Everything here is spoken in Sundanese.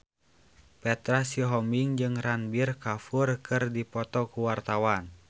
Petra Sihombing jeung Ranbir Kapoor keur dipoto ku wartawan